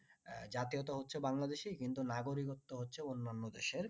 জাতীয়তা হচ্ছে বাংলাদেশী কিন্তু নাগরিকত্ত হচ্ছে অনন্য দেশের